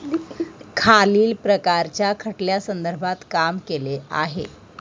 खालील प्रकारच्या खटल्यासंदर्भात काम केले आहे.